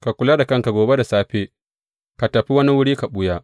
Ka kula da kanka gobe da safe, ka tafi wani wuri ka ɓuya.